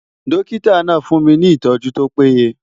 Dọ́kítà náà fún mi ìtọ́jú tó péye.